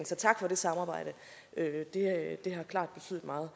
så tak for det samarbejde det har klart betydet meget